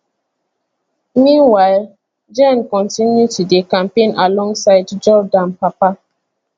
meanwhile jenn kontinu to dey campaign alongside jordan papa